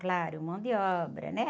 Claro, mão de obra, né?